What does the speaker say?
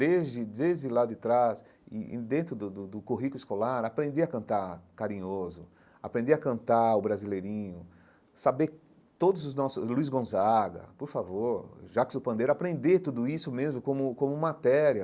Desde desde lá de trás, e e dentro do do do currículo escolar, aprender a cantar Carinhoso, aprender a cantar O Brasileirinho, saber todos os nossos... Luiz Gonzaga, por favor, Jacques do Pandeiro, aprender tudo isso mesmo como como matéria,